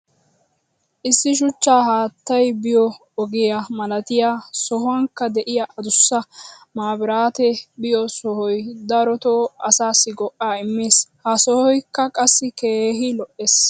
issi shuchcha haattay biyo oge malattiya sohuwankka diya adussa mabiraatee biyo sohoy darotoo asaassi go'aa immees. ha sohoykka qassi keehi lo'ees.